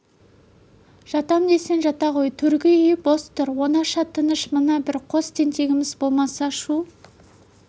жатам десең жата ғой төргі үй бос тұр оңаша тыныш мына бір қос тентегіміз болмаса шу